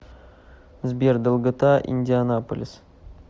сбер долгота индианаполис